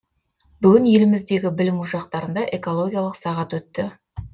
бүгін еліміздегі білім ошақтарында экологиялық сағат өтті